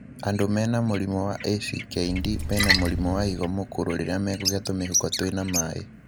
Andũ mena mũrimũ wa ACKD mena mũrimũ wa higo mũkũrũ rĩrĩa mekũgĩa tũmĩhuko twĩna maĩ.